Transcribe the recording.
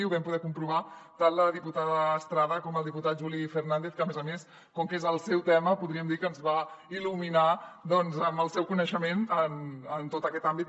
ho vam poder comprovar tant la diputada estrada com el diputat juli fernàndez que a més a més com que és el seu tema podríem dir que ens va il·luminar doncs amb el seu coneixement en tot aquest àmbit